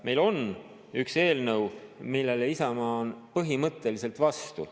Meil on üks eelnõu, millele Isamaa on põhimõtteliselt vastu.